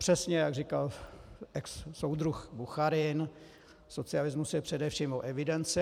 Přesně jak říkal exsoudruh Bucharin: socialismus je především o evidenci.